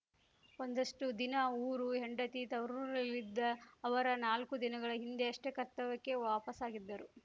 ಒಂದಷ್ಟುದಿನ ಊರು ಹೆಂಡತಿ ತವರೂರಲ್ಲಿದ್ದ ಅವರ ನಾಲ್ಕು ದಿನಗಳ ಹಿಂದಷ್ಟೇ ಕರ್ತವ್ಯಕ್ಕೆ ವಾಪಸಾಗಿದ್ದರು